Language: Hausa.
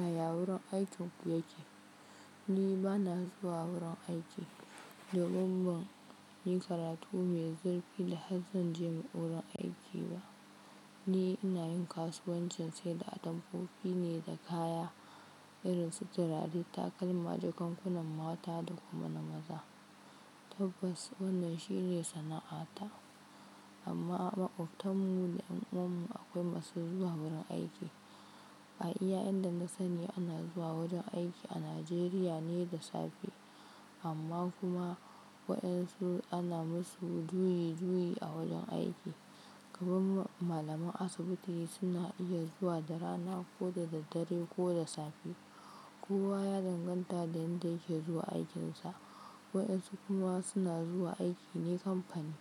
Yaya wurin aikin ku yake? Ni ba na zuwa wurin aiki. Domin ban yi karatu mai zurfi da har zan je wurin aiki ba. Ni ina yin kasuwancin saida atamfofi ne da kaya irin su turare, takalma, jakankunan mata da kuma na maza. Tabbas wannan shine sana'ata. Amma maƙotanmu da ƴan uwannu akwai masu zuwa wurin aiki. A iya yanda na sani ana zuwa wajen aiki a Najeriya ne da safe. Amma kuma waɗansu ana musu juyi juyi a wajen aiki. Kaman malaman asibiti suna iya zuwa da rana ko da daddare ko da safe. Kowa ya danganta da inda yake zuwa aikinsa. Waɗansu kunuwa suna zuwa aiki ne kamfani.